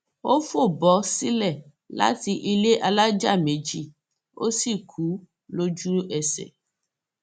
ó fò bọ sílẹ láti ilé alájà méjì ó sì kú lójúẹsẹ